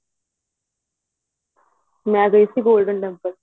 ਮੈਂ ਗਈ ਸੀ golden temple